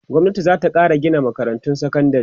gwamnati zata Kara Gina makarantun sekandari